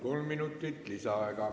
Kolm minutit lisaaega.